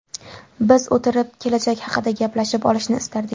Biz o‘tirib, kelajak haqida gaplashib olishni istardik.